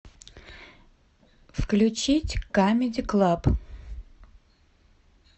включить камеди клаб